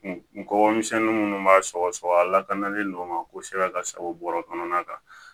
N kɔkɔ misɛnnin minnu b'a sɔgɔ sɔgɔ a lakanalen don o ma kosɛbɛ ka sago bɔrɛ kɔnɔna kan